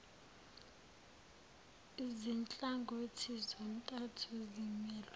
zinhlangothi zontathu zimelwe